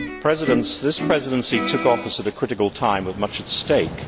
Mr President, this Presidency took office at a critical time with much at stake.